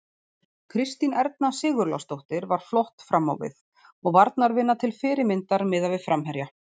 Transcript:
Kristín Erna Sigurlásdóttir var flott fram á við og varnarvinna til fyrirmyndar miðað við framherja.